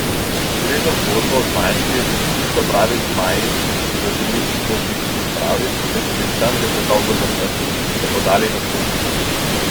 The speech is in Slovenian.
Gre za zgodbo o zmajčkih, čisto pravih zmajih, ki so se odločili izstopiti iz pravljic, ker so bili tam že predolgo zaprti, in se podati v svet.